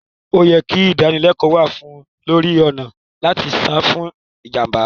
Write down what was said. O ye kí ìdánilẹ́kò wá lórí ọ̀nà làti sa fún ìjànbá